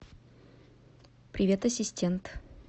привет ассистент